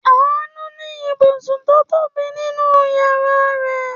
Àánú ní ibùsùn tó tóbi nínú ìyàrá rẹ̀.